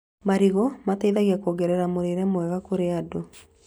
Marigũ mateithagia kuongerera mũrĩre mwega kũrĩ andũ